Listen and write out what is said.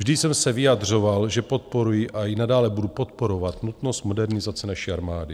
Vždy jsem se vyjadřoval, že podporuji a i nadále budu podporovat nutnost modernizace naší armády.